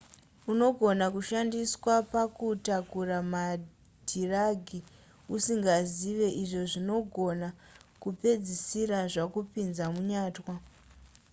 unogona kushandiswa pakutakura madhiragi usingazivi izvo zvinongona kupedzisira zvakupinza munyatwa